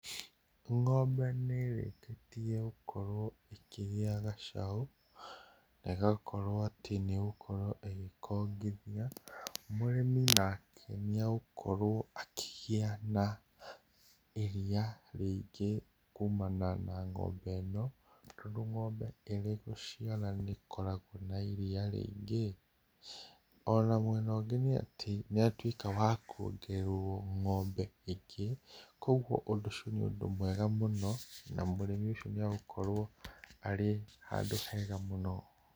Ng'ombe nĩrĩkĩtie gũkorwo ĩkĩgĩa gacaũ, na ĩgakorwo atĩ nĩ gũkorwo ĩgĩkongithia. Mũrĩmi nake nĩ egũkorwo akĩgĩa na iria rĩingĩ kumana na ng'ombe ĩno. Tondũ ng'ombe ĩrĩ gũciara nĩ koragũo na iria rĩingĩ. Ona mwena ũngĩ nĩatĩ nĩ atuĩka wa kuongererwo ng'ombe ĩngĩ, koguo ũndũ ũcio nĩ ũndũ mwega mũno, na mũrĩmi ũcio nĩ egũkorwo arĩ handũ hega mũno.